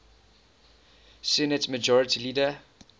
senate majority leader